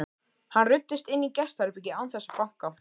Hann ruddist inn í gestaherbergið án þess að banka.